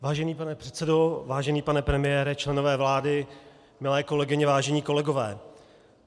Vážený pane předsedo, vážený pane premiére, členové vlády, milé kolegyně, vážení kolegové.